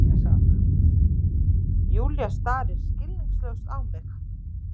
Júlía starir skilningslaus á mig.